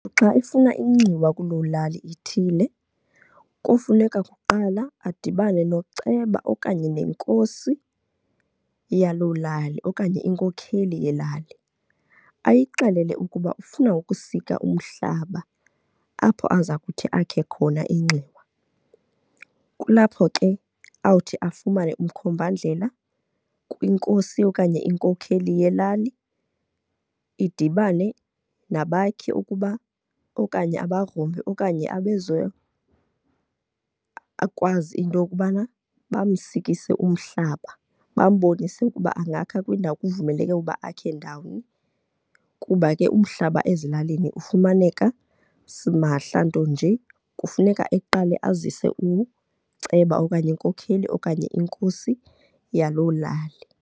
Xa efuna inxiwa kuloo lali ithile kofuneka kuqala adibane noceba okanye nenkosi yaloo lali okanye inkokheli yelali. Ayixelele ukuba ufuna ukusika umhlaba apho aza kuthi akhe khona inxiwa. Kulapho ke awuthi afumane umkhombandlela kwinkosi okanye inkokheli yelali, idibane nabakhi ukuba okanye abagrumbi okanye akwazi into yokubana bamsikise umhlaba, bambonise ukuba angakha kwindawo, kuvumeleke ukuba akhe ndawoni. Kuba ke umhlaba ezilalini ufumaneka simahla, nto nje kufuneka eqale azise uceba okanye inkokheli okanye inkosi yaloo lali.